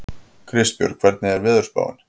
Kristbjörg, hvernig er veðurspáin?